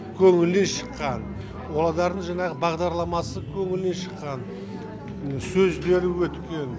көңілінен шыққан одардың жаңағы бағдарламасы көңілінен шыққан сөздері өткен